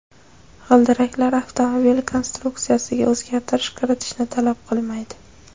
G‘ildiraklar avtomobil konstruksiyasiga o‘zgartirish kiritishni talab qilmaydi.